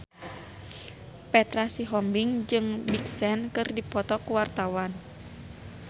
Petra Sihombing jeung Big Sean keur dipoto ku wartawan